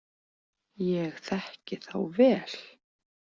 Ég þekki þá vel.